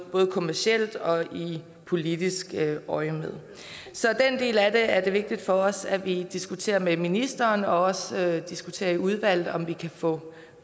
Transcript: kommercielt og i politisk øjemed så den del af det er det vigtigt for os at vi diskuterer med ministeren og også diskuterer i udvalget om vi kan få